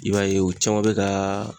I b'a ye u caman bɛ ka